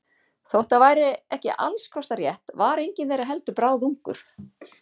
Þótt það væri ekki alls kostar rétt var enginn þeirra heldur bráðungur.